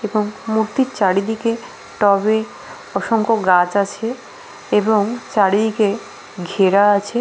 এবং মূর্তির চারিদিকে টবে অসংখ্য গাছ আছে এবং চারিদিকে ঘেরা আছে --